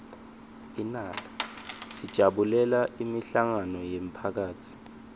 sijabulela imihlangano yemphakatsi